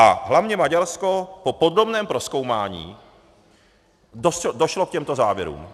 A hlavně Maďarsko po podrobném prozkoumání došlo k těmto závěrům.